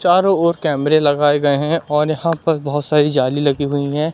चारों ओर कैमरे लगाए गए हैं और यहां पर बहुत सारी जाली लगी हुई हैं।